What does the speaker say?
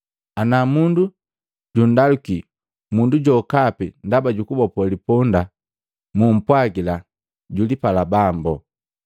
Ana mundu jundaluki mundu jokapi ndaba jukubopo liponda, mu kumpwagila, ‘Julipala Bambo.’ ”